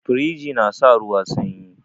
Firiji na sa ruwa sanyi